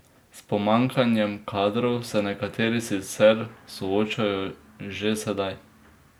S pomanjkanjem kadrov se nekateri sicer soočajo že sedaj.